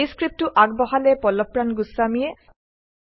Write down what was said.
এই স্ক্ৰীপ্তটো আগবঢ়ালে পল্লৱপ্ৰাণ গোস্বামীয়ে